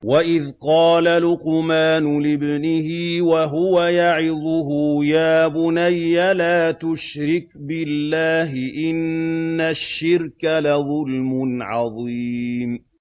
وَإِذْ قَالَ لُقْمَانُ لِابْنِهِ وَهُوَ يَعِظُهُ يَا بُنَيَّ لَا تُشْرِكْ بِاللَّهِ ۖ إِنَّ الشِّرْكَ لَظُلْمٌ عَظِيمٌ